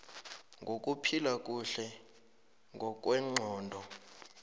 wokuphila kuhle ngokwengqondo